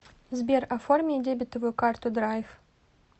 сбер оформи дебетовую карту драйв